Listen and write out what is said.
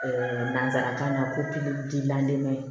nanzarakan na ko